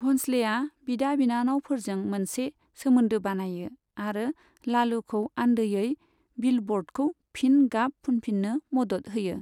भन्सलेआ बिदा बिनानावफोरजों मोनसे सोमोन्दो बानायो आरो लालुखौ आनदोयै बिलबर्डखौ फिन गाब फुनफिन्नो मदद होयो।